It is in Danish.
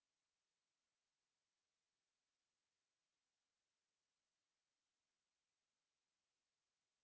to